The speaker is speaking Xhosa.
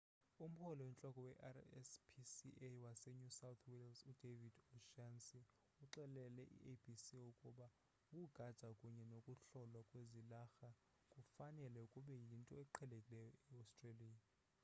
umhloli oyintloko we-rspca wase new south wales udavid o'shannessy uxelele i-abc ukuba ukugada kunye nokuhlolwa kwezilarha kufanele kube yinto eqhelekileyo e-australia